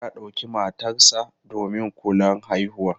Musa ya ɗauki matarsa ​​domin kulan haihuwa.